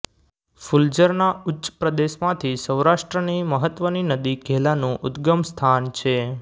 ફુલઝરના ઉચ્ચ પ્રદેશ માંથી સૌરાષ્ટ્રની મહત્વની નદી ઘેલાનું ઉદગમ સ્થાન છે